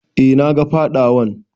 E, na ga fadawan.